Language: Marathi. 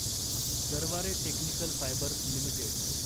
Garware technical fibres limited